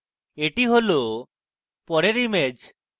এটি হল পরের image